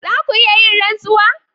Za ku iya yin rantsuwa?